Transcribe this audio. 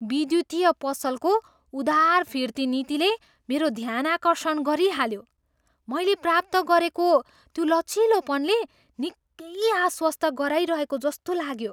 विद्युतीय पसलको उदार फिर्ती नीतिले मेरो ध्यानाकर्षण गरिहाल्यो, मैले प्राप्त गरेको त्यो लचिलोपनले निकै आश्वस्त गराइरहेको जस्तो लाग्यो।